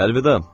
Əlvida.